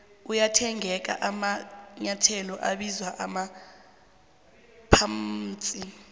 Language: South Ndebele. ayathengeka amanyethelo abizwa amaphamsi